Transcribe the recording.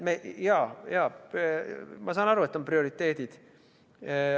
Jaa, ma saan aru, et on prioriteedid.